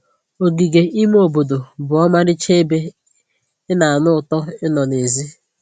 Ogige ime obodo bụ ọmarịcha ebe ị na-anụ ụtọ ịnọ n'èzí